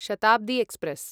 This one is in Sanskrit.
शताब्दी एक्स्प्रेस्